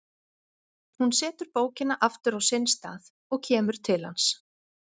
Hún setur bókina aftur á sinn stað og kemur til hans.